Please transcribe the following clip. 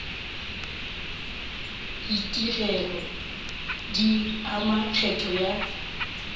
ditigelo di ama kgetho ya